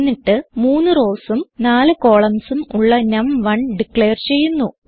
എന്നിട്ട് 3 rowsഉം 4 columnsഉം ഉള്ള നം1 ഡിക്ലെയർ ചെയ്യുന്നു